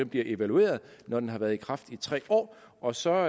bliver evalueret når den har været i kraft i tre år og så